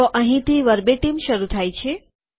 તો અહીંથી વર્બેટીમ શરૂ થાય છે